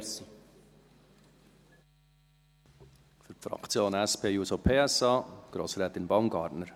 Für die Fraktion SP-JUSO-PSA, Grossrätin Baumgartner.